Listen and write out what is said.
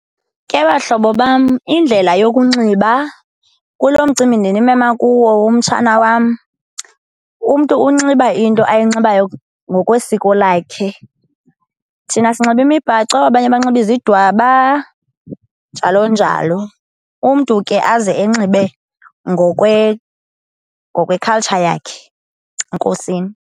Ke bahlobo bam indlela yokunxiba kulo mcimbi ndinimema kuwo womtshana wam, umntu unxiba into ayinxibayo ngokwesiko lakhe. Thina sinxiba imibhaco abanye banxiba izidwaba, njalo njalo. Umntu ke aze enxibe ngokwekhaltsha yakhe. Enkosini